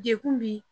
Dekun bi